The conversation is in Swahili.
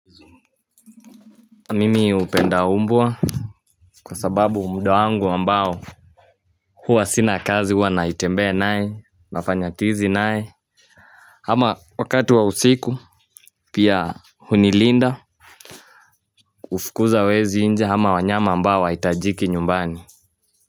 Mimi hupenda umbwa kwa sababu muda wangu ambao huwa sina kazi huwa naitembe naye nafanya tizi naye ama wakati wa usiku pia hunilinda hufukuza wezi nje ama wanyama ambao hawahitajiki nyumbani.